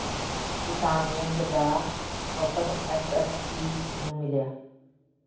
ਕਿਸਾਨ ਵਿੰਗ ਦਾ ਵਫ਼ਦ ਐਸ ਐਸ ਪੀ ਨੂੰ ਮਿਲਿਆ